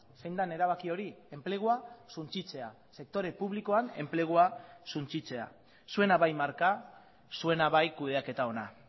zein den erabaki hori enplegua suntsitzea sektore publikoan enplegua suntsitzea zuena bai marka zuena bai kudeaketa ona